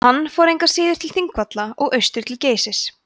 hann fór engu að síður til þingvalla og austur til geysis